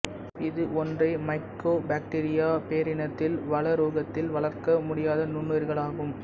இது ஒன்றே மைக்கோபாக்டிரிய பேரினத்தில் வளரூடகத்தில் வளர்க்க முடியா நுண்ணுயிர்களாகும்